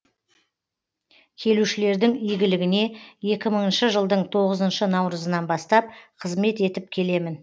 келушілердің игілігіне екі мыңыншы жылдың тоғызыншы наурызынан бастап қызмет етіп келемін